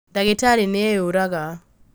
Ndagĩtarĩ nĩeũraga